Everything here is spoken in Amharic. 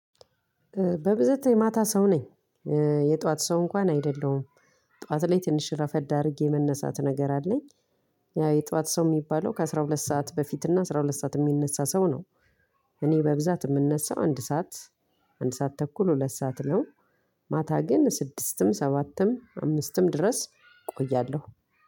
በብዝታ የማታ ሰው ነኝ። የጧት ሰው እንኳን አይደለሁም። ጧት ላይ ትንሽ ረፈድ አድርጌ መነሳት ነገር አለኝ። የጥዋት ሰው የሚባለው ከአስራ ሁለት ሰዓት በፊት እና አስራ ሁለት ሰዓት የሚነሳ ነው። እኔ በብዛት የምነሳው አንድ ሰዓት አንድ ሰዓት ተኩል ሁለት ሰዓት ነው። ማታ ግን ስድስትም ሰባትም አምስትም ድረስ እቆያለሁ።